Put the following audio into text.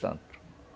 Tanto.